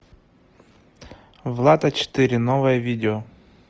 влад а четыре новое видео